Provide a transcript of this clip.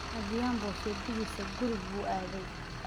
Adhiambo sayidkiisii ​​gurigii buu aaday